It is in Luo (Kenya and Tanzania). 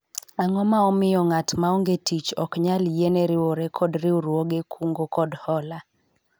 ang'o ma omiyo ng'at maonge tich ok nyal yiene riwore kod riwruog kungo kod hola ?